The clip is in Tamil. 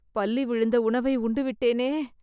பல்லி விழுந்த உணவை உண்டுவிட்டேனே